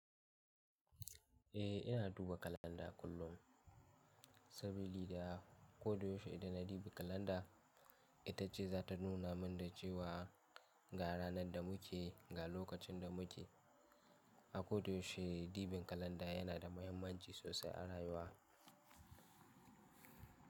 Eh, ina duba kalanda kullum sabili da koda yaushe idan na ɗibi kalanda, ita ce za ta nuna min da cewa ga ranar da muke, ga lokacin da muke. A koda yaushe dibin kalanda yana da muhimmanci sosai a rayuwa.